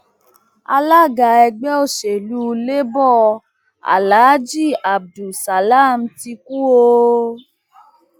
alága ẹgbẹ òsèlú labour alaají abdul salam ti kú o